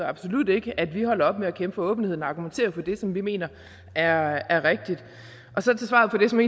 absolut ikke at vi er holdt op med at kæmpe for åbenheden og argumentere for det som vi mener er er rigtigt så til svaret på det som